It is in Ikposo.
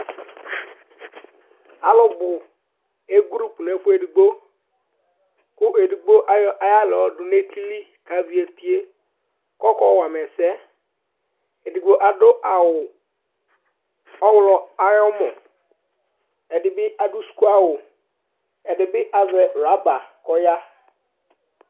Alʋbu egroup ŋu ɛfʋɛ ɛɖigbo Ɛɖigbo ayɔ aɣla yɔɖu ŋu etili kavi etie kʋ ɔkɔwama ɛsɛ Ɛɖigbo aɖu awu ɔwlɔ ayʋ ɔmɔ Ɛɖìbi aɖu sʋku awu Ɛɖìní bi azɛ rubber kʋ ɔya